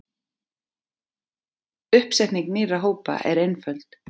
Uppsetning nýrra hópa er einföld.